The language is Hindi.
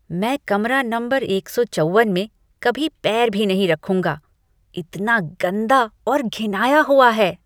मैं कमरा नंबर एक सौ चौवन में कभी पैर भी नहीं रखूंगा, इतना गंदा और घिनाया हुआ है।